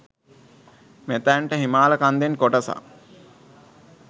මෙතැනට හිමාල කන්දෙන් කොටසක්